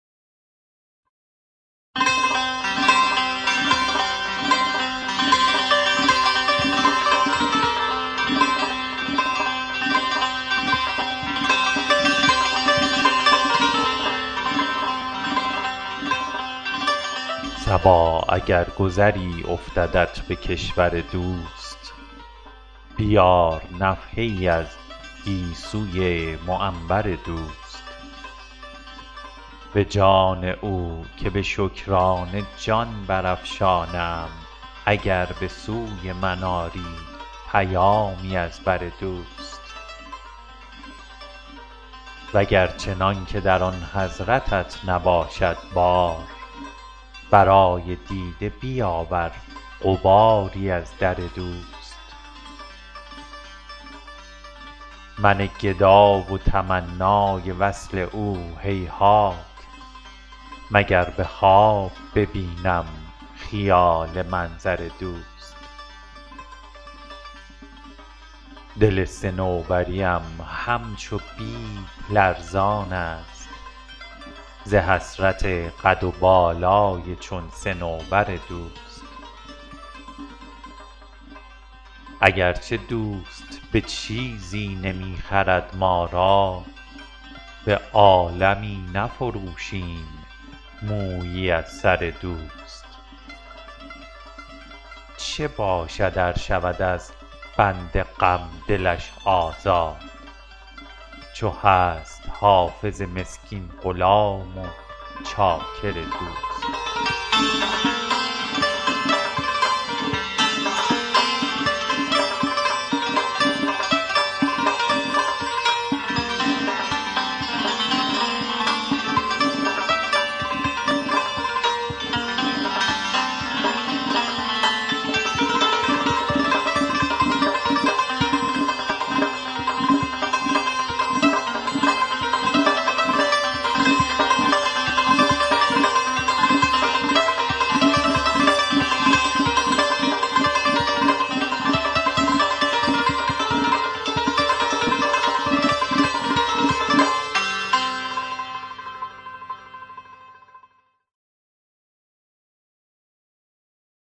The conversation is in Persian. صبا اگر گذری افتدت به کشور دوست بیار نفحه ای از گیسوی معنبر دوست به جان او که به شکرانه جان برافشانم اگر به سوی من آری پیامی از بر دوست و گر چنان که در آن حضرتت نباشد بار برای دیده بیاور غباری از در دوست من گدا و تمنای وصل او هیهات مگر به خواب ببینم خیال منظر دوست دل صنوبری ام همچو بید لرزان است ز حسرت قد و بالای چون صنوبر دوست اگر چه دوست به چیزی نمی خرد ما را به عالمی نفروشیم مویی از سر دوست چه باشد ار شود از بند غم دلش آزاد چو هست حافظ مسکین غلام و چاکر دوست